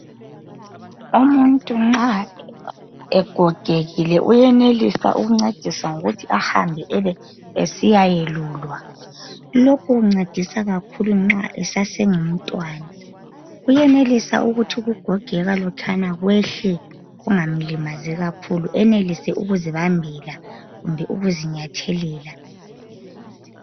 Umuntu nxa egogekile uyenelisa ukungcediswa ngokuthi ahambe ebe esiya yelulwa lokhu kungcedisa kakhulu nxa esase ngumntwana uyenelisa ukuthi ukugogeka lokhana kwehle kungamlimazi kakhulu enelise ukuzibambela kumbe ukuzinyathelela